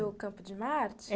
Ali no Campo de Martes?